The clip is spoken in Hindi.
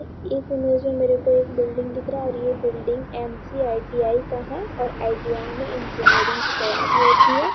इस इमेज में मेरेको एक बिल्डिंग दिख रहा और ये बिल्डिंग एम.सी.आई.टी.आई. का है और आई.टी.आई. में इंजीनियरिंग की तैयारी होती है।